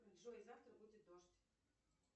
джой завтра будет дождь